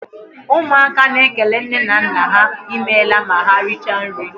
Ụmụaka na ékélé nne na nna há I meela ma ha richaa nri.